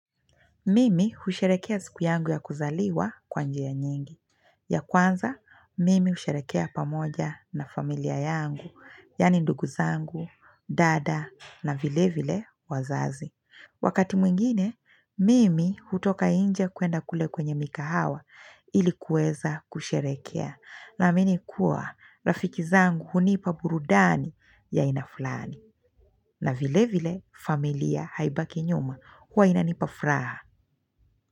Mimi husherekea siku yangu ya kuzaliwa kwa njia ya nyingi. Ya kwanza, mimi husherekea pamoja na familia yangu, yani ndugu zangu, dada na vile vile wazazi. Wakati mwingine, mimi hutoka nje kuenda kule kwenye mikahawa ilikuweza kusherekea. Na mimi kuwa, rafiki zangu hunipa burudani ya aina fulani. Na vile vile familia haibaki nyuma huwa inanipa furaha.